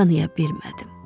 Tanıya bilmədim.